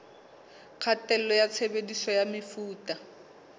kgatello ya tshebediso ya mefuta